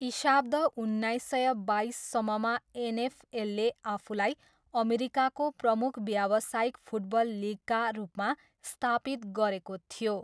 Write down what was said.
इशाब्द उन्नाइस सय बाइससम्ममा एनएफएलले आफूलाई अमेरिकाको प्रमुख व्यावसायिक फुटबल लिगका रूपमा स्थापित गरेको थियो।